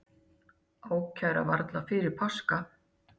Ákæra varla fyrir páska